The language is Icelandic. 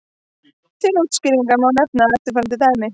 Til útskýringar má nefna eftirfarandi dæmi.